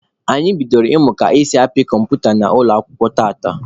Anyị bidoro ịmụ ka esi apị kọmputa n'ụlọ akwụkwọ tata.